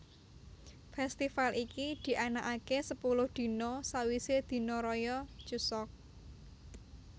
Festival iki dianakake sepuluh dina sawise dina raya Chuseok